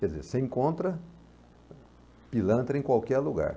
Quer dizer, você encontra pilantra em qualquer lugar.